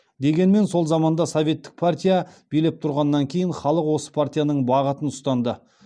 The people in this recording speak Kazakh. дегенмен сол заманда советтік партия билеп тұрғаннан кейін халық осы партияның бағытын ұстанды